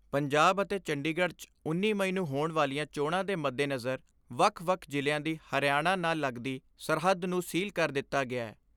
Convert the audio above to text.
ਪੰਜਾਬ ਅਤੇ ਚੰਡੀਗੜ੍ਹ 'ਚ ਉੱਨੀ ਮਈ ਨੂੰ ਹੋਣ ਵਾਲੀਆਂ ਚੋਣਾਂ ਦੇ ਮੱਦੇਨਜ਼ਰ ਵੱਖ ਵੱਖ ਜ਼ਿਲ੍ਹਿਆਂ ਦੀ ਹਰਿਆਣਾ ਨਾਲ ਲੱਗਦੀ ਸਰਹੱਦ ਨੂੰ ਸੀਲ ਕਰ ਦਿੱਤਾ ਗਿਐ।